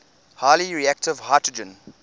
highly reactive hydrogen